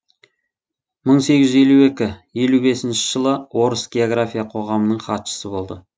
мың сегіз жүз елу екі елу бесінші жылы орыс география қоғамының хатшысы болды